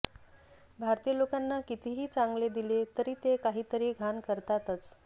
भारतीय लोकांना कितीही चांगले दिले तरी ते काहीतरी घाण करताच